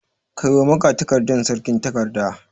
Kai wa magatakardar sarki takardar.